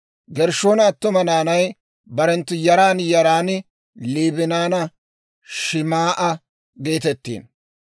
Gershshoona attuma naanay barenttu yaran yaran Liibinanne Shim"a geetettiino.